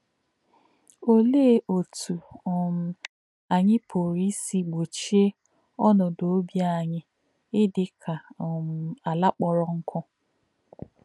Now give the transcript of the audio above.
Ọ̀lē̄ ọ̀tú̄ um ànyí̄ pụ̀rụ́ ísī̄ gbò̄chí̄è̄ ọ̀nòdò̄ ọ̀bí̄ ànyí̄ ídì̄ kā̄ um àlà̄ kpọ̀rọ́ nkụ́?